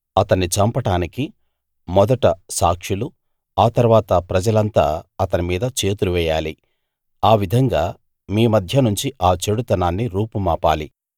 అతన్ని చంపడానికి మొదట సాక్షులు తరువాత ప్రజలంతా అతని మీద చేతులు వేయాలి ఆ విధంగా మీ మధ్య నుంచి ఆ చెడుతనాన్ని రూపుమాపాలి